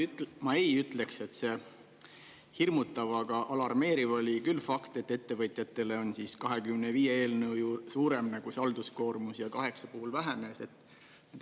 Ma ei ütleks, et see hirmutav, aga alarmeeriv oli küll fakt, et ettevõtjatele on 25 eelnõu suurem see halduskoormus ja kaheksa puhul vähenes.